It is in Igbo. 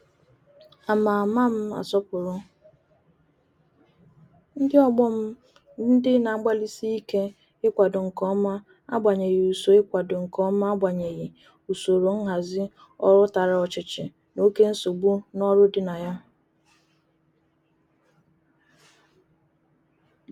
Ama Ama m asopuru ndi ogbo m ndi na-agbalisike ikwado nke oma agbanyeghi uso ikwado nke oma agbanyeghi usoro nhazi oru Tara ochichi na oke nsogbu n'oru di na ya.